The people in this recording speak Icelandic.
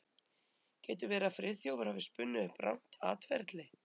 Getur verið að Friðþjófur hafi spunnið upp rangt atferli?